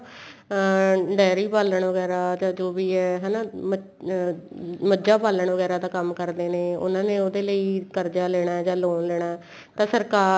ਅਹ dairy ਪਾਲਣ ਵਗੈਰਾ ਜਾਂ ਜੋ ਵੀ ਏ ਹਨਾ ਮਜ ਅਹ ਮਝਾ ਪਾਲਣ ਵਗੈਰਾ ਦਾ ਕੋਈ ਕੰਮ ਕਰਦੇ ਨੇ ਉਹਨਾ ਨੇ ਉਹਦੇ ਲਈ ਕਰਜ਼ਾ ਲੈਣਾ ਜਾਂ loan ਲੈਣਾ ਤਾਂ ਸਰਕਾਰ